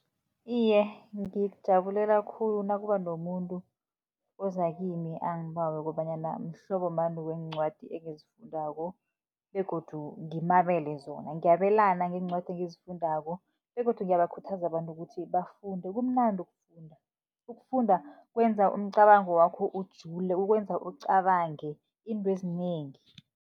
Iye, ngikujabulela khulu nakuba nomuntu oza kimi, angibawe kobanyana mhlobo bani weencwadi engizifundako begodu ngimabele zona. Ngiyabelana ngeencwadi engizifundako begodu ngiyabakhuthaza abantu ukuthi bafunde, kumnandi ukufunda. Ukufunda kwenza umcabango wakho ujule, ukwenza ucabange iintwezinengi.